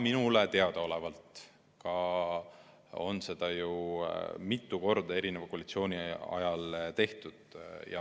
Minule teadaolevalt on seda ju mitu korda varasemate koalitsioonide ajal ka tehtud.